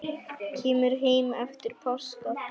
Kemur heim eftir páska.